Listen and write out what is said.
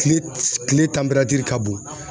Kile kile tanperatiri ka bon